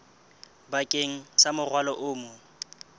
bakeng sa morwalo o mong